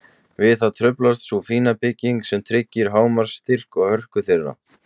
Við það truflast sú fína bygging sem tryggir hámarks styrk og hörku þeirra.